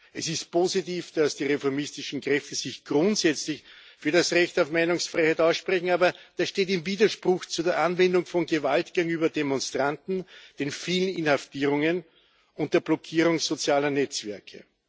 Es ist positiv, dass die reformistischen Kräfte sich grundsätzlich für das Recht auf Meinungsfreiheit aussprechen, aber das steht im Widerspruch zu der Anwendung von Gewalt gegenüber Demonstranten, den vielen Inhaftierungen und der Blockierung sozialer Netzwerke.